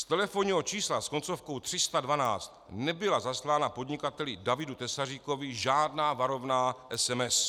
Z telefonního čísla s koncovkou 312 nebyla zaslána podnikateli Davidu Tesaříkovi žádná varovná SMS.